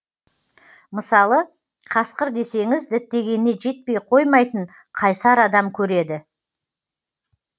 мысалы қасқыр десеңіз діттегеніне жетпей қоймайтын қайсар адам көреді